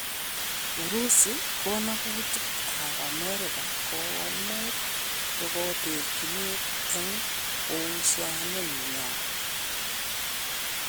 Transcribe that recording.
Urusi: gonugutik ab America komuch kogoterchinet en uhusianenyan.